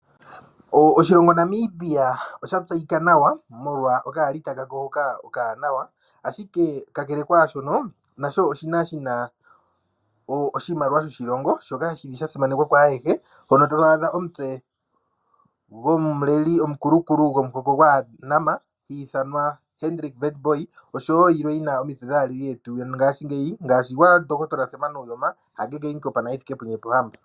Oshilongo Namibia osha tseyika nawa molwa okaalita kasho hoka okawaanawa. Ashike ka kele kwaashono nasho oshili shina oshimaliwa shoshilongo shoka shili sha simanekwa kwaayehe, mpono to adha omutse gomuleli omukulukulu gomuhoko gwaaNama hi ithanwa Hendrick Witboy oshowo yilwe yina omitse dhaaleli yetu yongaashingeyi ngaashi gwaNdohotola Sam Nuuyoma, Hage Geingob nogwa Hifikepunye Pohamba.